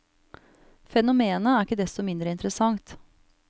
Fenomenet er ikke desto mindre interessant.